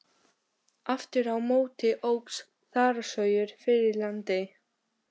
Aftur á móti óx þaraskógur fyrir landi.